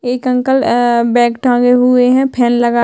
एक uncle bag टाँगे हुए है फैन लगा--